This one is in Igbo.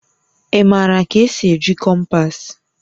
Ị maara ka esi eji kompas?